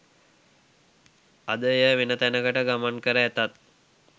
අද එය වෙනතැනකට ගමන්කර ඇතත්